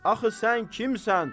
Axı sən kimsən?